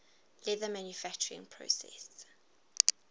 leather manufacturing process